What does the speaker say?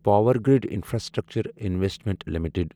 Powergrid infrastructure investment limited